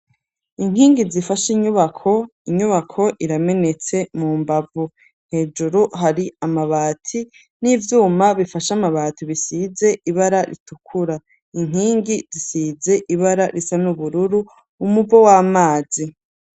Inkingi zifashe inyubako, inyubako iramenetse mu mbavu hejuru hari amabati n'ivyuma bifashe amabati, bisize ibara ritukura, inkingi zisize ibara risa n'ubururu umuvo w'amazi.